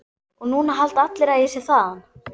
Og núna halda allir að ég sé þaðan.